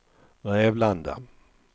Rävlanda